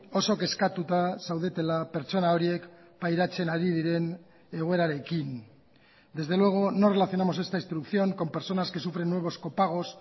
oso kezkatuta zaudetela pertsona horiek pairatzen ari diren egoerarekin desde luego no relacionamos esta instrucción con personas que sufren nuevos copagos